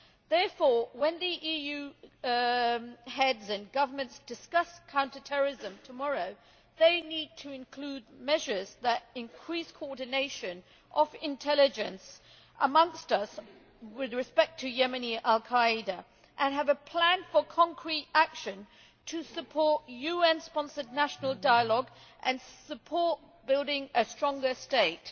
Therefore, when the EU Heads of State or Government discuss counter terrorism tomorrow they need to include measures that increase coordination of intelligence amongst us, with respect to Yemeni Al Qaeda, and have a plan for concrete action to support UN sponsored national dialogue and support building a stronger state.